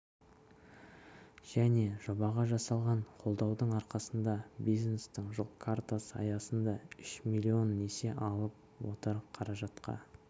және жобаға жасалған қолдаудың арқасында бизнестің жол картасы аясында үш миллион несие алып отыр қаражатқа